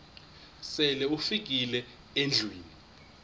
sele ufikile endlwini